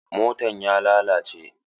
Motan ya lalace.